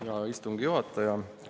Hea istungi juhataja!